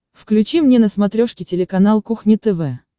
включи мне на смотрешке телеканал кухня тв